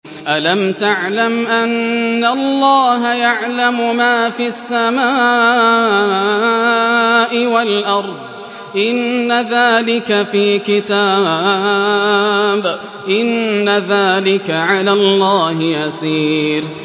أَلَمْ تَعْلَمْ أَنَّ اللَّهَ يَعْلَمُ مَا فِي السَّمَاءِ وَالْأَرْضِ ۗ إِنَّ ذَٰلِكَ فِي كِتَابٍ ۚ إِنَّ ذَٰلِكَ عَلَى اللَّهِ يَسِيرٌ